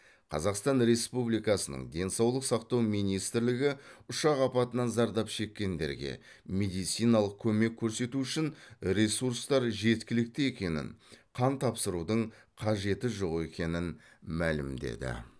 қазақстан республикасының денсаулық сақтау министрлігі ұшақ апатынан зардап шеккендерге медициналық көмек көрсету үшін ресурстар жеткілікті екенін қан тапсырудың қажеті жоқ екенін мәлімдеді